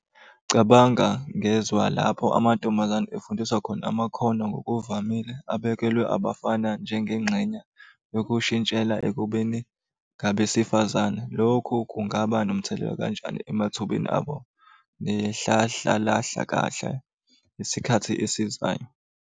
Cabanga ngezwa lapho amantombazane efundiswa khona amakhono ngokuvamile. Abekelwe abafana njengengxenye yokushintshela ekubeni ngabesifazane. Lokhu kungaba nomthelela kanjani emathubeni abo isikhathi esizayo?